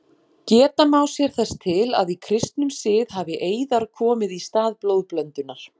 Geta má sér þess til að í kristnum sið hafi eiðar komið í stað blóðblöndunar.